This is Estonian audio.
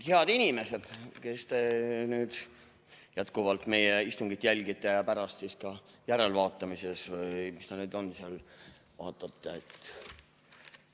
Head inimesed, kes te nüüd jätkuvalt meie istungit jälgite ja pärast järelvaatamises või mis ta nüüd on seal, vaatate!